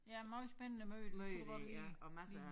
Ja måj spændende møde kunne det godt ligne ligne